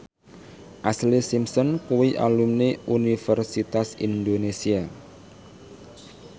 Ashlee Simpson kuwi alumni Universitas Indonesia